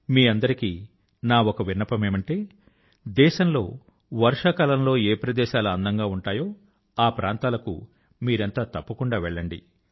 మీ అందరికీ నా ఒక విన్నపం ఏమిటంటే దేశం లో వర్షాకాలం లో ఏ ప్రదేశాలు అందం గా ఉంటాయో ఆ ప్రాంతాల కు మీరంతా తప్పకుండా వెళ్ళండి